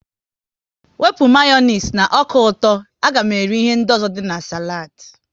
Wepụ Mayonezi na ọka ụtọ, a ga m eri ihe ndị ọzọ dị na saladi